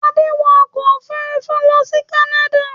Adé wọ ọkọ̀-òfurufú lọ sí Canada.